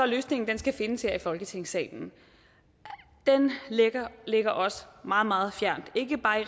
løsningen skal findes her i folketingssalen ligger ligger os meget meget fjernt ikke bare